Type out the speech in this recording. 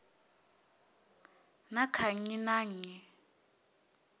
na kha nnyi na nnyi